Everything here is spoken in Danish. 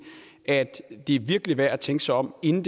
at det virkelig er værd at tænke sig om inden